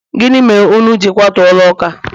gini mere unu ji kwatu ulo uka?